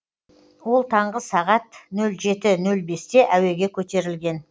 ол таңғы сағат нөл жеті нөл бесте әуеге көтерілген